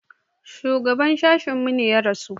Shugaban sashen mu ya rasu.